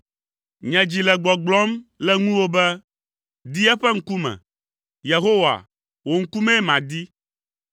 Nye dzi le gbɔgblɔm le ŋuwò be, “Di eƒe ŋkume!” Yehowa, wò ŋkumee madi.